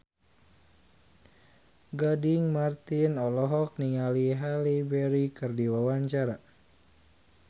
Gading Marten olohok ningali Halle Berry keur diwawancara